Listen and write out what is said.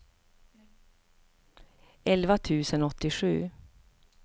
elva tusen åttiosju